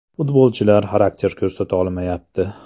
Futbolchilar xarakter ko‘rsata olmayapti.